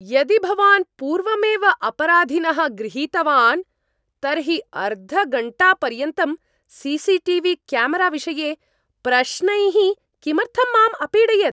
यदि भवान् पूर्वमेव अपराधीनः गृहीतवान्, तर्हि अर्धघण्टापर्यन्तं सी सी टी वी क्यामराविषये प्रश्नैः किमर्थं माम् अपीडयत्?